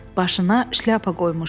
Başına şlyapa qoymuşdu.